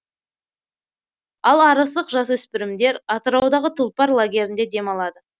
ал арыстық жасөспірімдер атыраудағы тұлпар лагерінде демалады